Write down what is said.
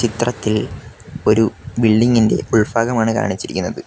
ചിത്രത്തിൽ ഒരു ബിൽഡിംഗ് ഇന്റെ ഉൾഫാഗമാണ് കാണിച്ചിരിക്കുന്നത്.